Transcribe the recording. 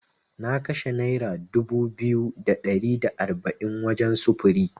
Na kashe Nera dubu biyu da ɗari da arba’in wajen sufuri.